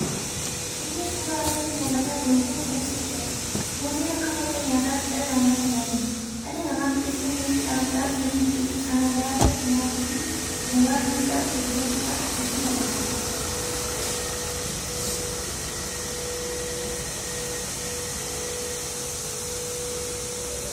Inni suuraa irratti muldhataa jiru kun muuzii jedhama. Muuziin akka madda nyaatatti dhala namaa tajaajila. Dhalli namaa biqiltuu muuzii dhaabuudhaan firii biqiltuu sana irraa argamu nyaatuu fi gabaa fiduudhaan gurguratuudhaan itti dhimma baha.